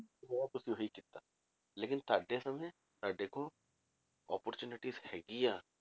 ਤੁਸੀਂ ਉਹੀ ਕੀਤਾ ਲੇਕਿੰਨ ਤੁਹਾਡੇ ਸਮੇਂ ਤੁਹਾਡੇ ਕੋਲ opportunity ਹੈਗੀ ਆ,